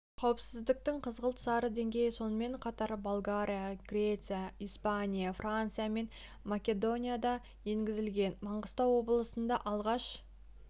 қауіптіліктің қызғылт-сары деңгейі сонымен қатар болгария греция испания франция мен македонияда да енгізілген маңғыстау облысында алғаш